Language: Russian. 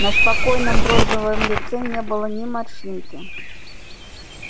на спокойном бронзовом лице не было ни морщинки